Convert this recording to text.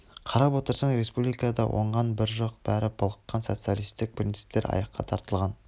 қарап отырсаң республикада оңған бір жоқ бәрі былыққан социалистік принциптер аяққа тапталған